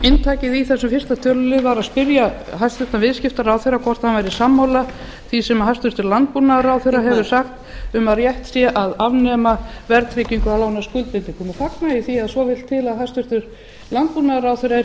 inntakið í þessum fyrsta tölulið var að spyrja hæstvirtur viðskiptaráðherra hvort hann væri sammála því sem hæstvirtur landbúnaðarráðherra hefur sagt um að rétt sé að afnema verðtryggingu á lánaskuldbindingum og fagna ég því að svo vill til að hæstvirtur landbúnaðarráðherra er